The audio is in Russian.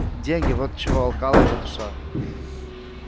деньги вот чего алкала его душа